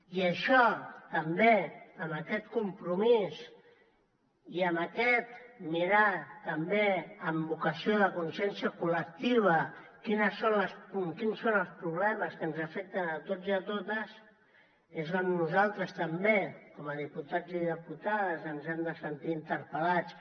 i això també amb aquest compromís i amb aquest mirar també amb vocació de consciència col·lectiva quins són els problemes que ens afecten a tots i totes és on nosaltres també com a diputats i diputades ens hem de sentir interpel·lats